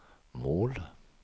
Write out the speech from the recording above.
mål